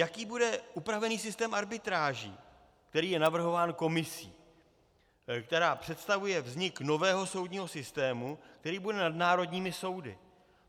Jaký bude upravený systém arbitráží, který je navrhován Komisí, která představuje vznik nového soudního systému, který bude nad národními soudy.